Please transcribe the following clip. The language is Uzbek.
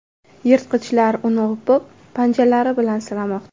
Yirtqichlar uni o‘pib, panjalari bilan silamoqda.